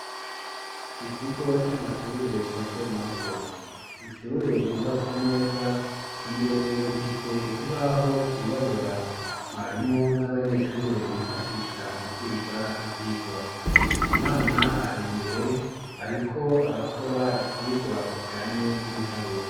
Mu kigo c'amashure mato mato ishure ryubatse neza imbere rifise ikibaho cirabura mwarimu n'abanyeshure bifashisha mu kwiga ivyigwa umwana ari imbere ariko arakora icigwa kijanye n'ibiharuro.